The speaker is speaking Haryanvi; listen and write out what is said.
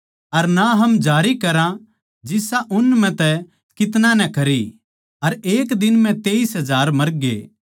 अर ना हम जारी करा जिसा उन म्ह तै कितन्याँ नै करया अर एक दिन म्ह तेईस हजार मरग्ये